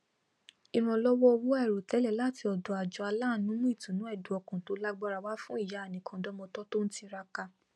ìrànlọwọ owó àìròtẹlẹ láti ọdọ àjọ aláàánú mú ìtùnú ẹdùnọkàn tó lágbára wá fún ìyá anìkàntọmọ tó ń tiraka